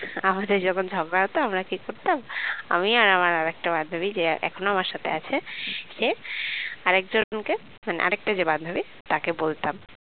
আমাদের যখন ঝগড়া হতো আমরা কি করতাম আমি আর আমার আরেকটা বান্ধবী যে এখনো আমার সাথে আছে সে আরেকজনকে মানে আরেকটা যে বান্ধবী তাকে বলতাম